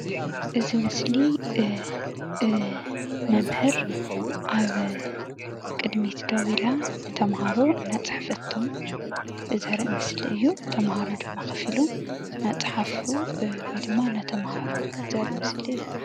እዚ ምስሊ መምህር አብ ቅድሚት ደው ኢላ ንተምሃሮ እናፅሐፈቶም ዘርኢ ምስሊ እዩ፡፡ ተምሃሮ ድማ ከፍ ኢሎም እናፃሓፉ ወይ ድማ እናተምሃሩ ዘርኢ ምስሊ እዩ፡፡